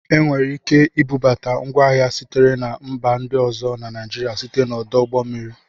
Enwere ike ibubata ngwa ahịa sitere na mba ndị ọzọ na Naijiria site n'ọdụ ụgbọ mmiri